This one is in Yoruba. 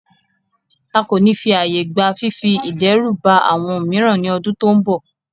A ko ni fi aaye gba fifi idẹruba awọn miiran ni ọdun to nbọ